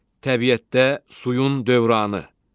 Təbiətdə suyun dövranı.